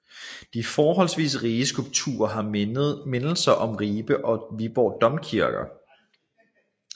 De forholdsvis rige skulpturer har mindelser om Ribe og Viborg Domkirker